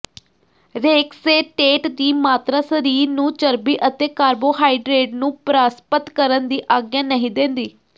ਰੇਕਸੇਟੇਟ ਦੀ ਮਾਤਰਾ ਸਰੀਰ ਨੂੰ ਚਰਬੀ ਅਤੇ ਕਾਰਬੋਹਾਈਡਰੇਟ ਨੂੰ ਪਰਾਸਪਤ ਕਰਨ ਦੀ ਆਗਿਆ ਨਹੀਂ ਦਿੰਦੀ